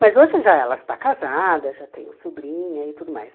Mas hoje já ela já está casada, já tenho sobrinha e tudo mais.